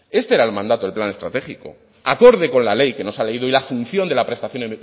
este era el mandato del plan estratégico acorde con la ley que nos ha leído y la asunción de la prestación